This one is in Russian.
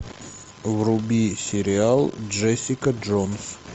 вруби сериал джессика джонс